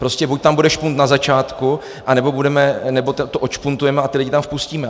Prostě buď tam bude špunt na začátku, anebo to odšpuntujeme a ty lidi tam vpustíme.